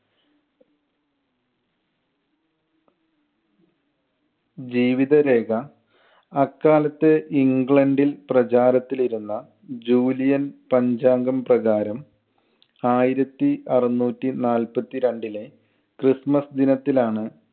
ജീവിതരേഖ അക്കാലത്ത് ഇംഗ്ലണ്ടിൽ പ്രചാരത്തിൽ ഇരുന്ന ജൂലിയൻ പഞ്ചാംഗം പ്രകാരം ആയിരത്തി അറുനൂറ്റി നാൽപ്പത്തി രണ്ടിലെ ക്രിസ്മസ് ദിനത്തിലാണ്